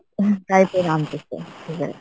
try কইরা আনতেছে cigarette.